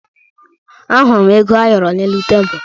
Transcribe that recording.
Ahụrụ m ego ayọrọ n'elu tebulu